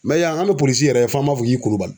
yan bɛ yɛrɛ f'an b'a fɔ k'i KULIBALI.